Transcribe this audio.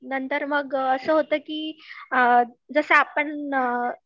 आणि नंतर मग असं होतं की जसं आपण Filler